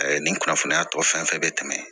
nin kunnafoniya tɔ fɛn fɛn bɛ tɛmɛ